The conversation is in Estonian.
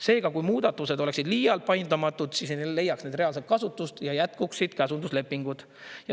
Seega, kui muudatused oleksid liialt paindumatud, siis ei leiaks need reaalset kasutust ja jätkuksid käsunduslepingud.